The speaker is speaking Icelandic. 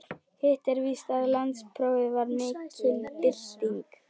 Hitt er víst að landsprófið var mikil bylting.